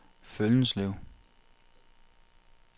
Føllenslev